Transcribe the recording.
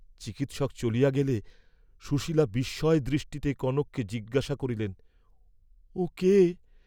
চিকিৎসক চলিয়া গেলে সুশীলা বিস্ময় দৃষ্টিতে কনককে জিজ্ঞাসা করিলেন ও কে?